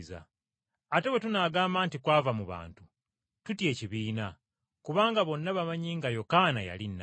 Ate bwe tunaagamba nti, ‘Kwava mu bantu,’ tutya ekibiina, kubanga bonna bamanyi nga Yokaana yali nnabbi.”